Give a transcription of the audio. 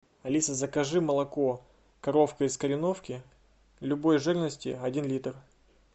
алиса закажи молоко коровка из кореновки любой жирности один литр